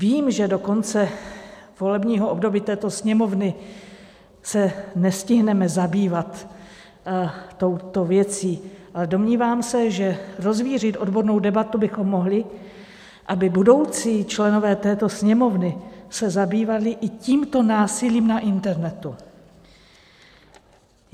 Vím, že do konce volebního období této Sněmovny se nestihneme zabývat touto věcí, ale domnívám se, že rozvířit odbornou debatu bychom mohli, aby budoucí členové této Sněmovny se zabývali i tímto násilím na internetu.